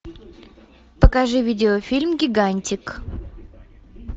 покажи видеофильм гигантик